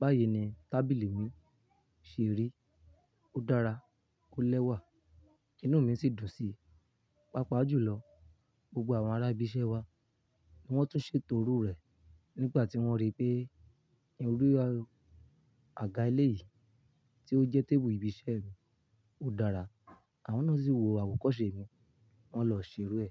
báyìí ni tábìlì mi ṣe rí. Ó dára, ó lẹ́wà. Inú mi sì dùn sí i. Páapaá julọ, gbogbo àwọn ará ibi iṣẹ́ wa wọ́n tún ṣe to irú rẹ̀ nígbà tí wọ́n rí pé irú àga elé yìí tí ó jẹ́ tébùù ibi iṣẹ́ mi, ó dára. Àwọn náà sì wo àwòkọ́ṣe mi, wọ́n lọ ṣè irú ẹ̀.